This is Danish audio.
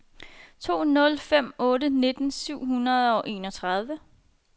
to nul fem otte nitten syv hundrede og enogtredive